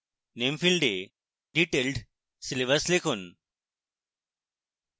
name ফীল্ডে detailed syllabus লিখুন